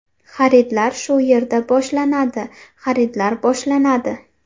Xaridlar shu yerda boshlanadi, xaridlar boshlanadi.